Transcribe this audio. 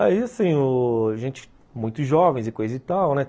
Aí, assim, a gente, muito jovens e coisa e tal, né?